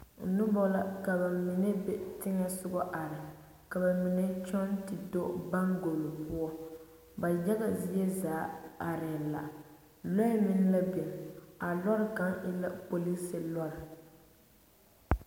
Noba la ka ba mine be tensoga are ka ba mine kyɔŋ te do baŋgulo poɔ ba yagazie zaa arɛɛ la loɛ meŋ la biŋ a loori kaŋa e la polisiri loori.